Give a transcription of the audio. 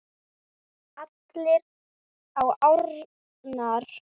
Allir á árarnar